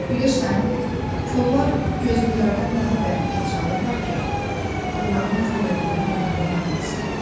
Bilirsən, korlar gözlülərdən daha bərk əl çalırlar ki, onların kor olduğunu duyanlar olmasın.